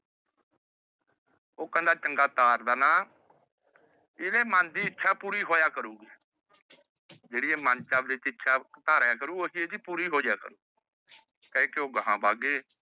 ਉਹ ਕਹਿੰਦਾ ਚੰਗਾ ਤਾਰ ਦੇਣਾ। ਇਹਦੇ ਮਨ ਦੀ ਇੱਛਾ ਪੂਰੀ ਹੋਇਆ ਕਰੂਗੀ। ਜਿਹੜੀ ਇਹ ਆਪਣੇ ਮਨ ਚ ਇੱਛਾ ਧਾਰਿਆ ਕਰੂਗਾ ਉਹ ਚੀਜ਼ ਪੂਰੀ ਹੋ ਜੀਆ ਕਰੂਗੀ। ਕਹਿ ਕੇ ਉਹ ਅਗਾ ਵੱਗ ਗਏ।